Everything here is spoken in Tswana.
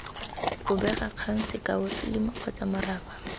bobegakgang sekao filimi kgotsa moraba